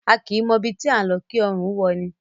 A kìí mọ ibi tí à ńlọ kí ọrùn ó wọ’ni.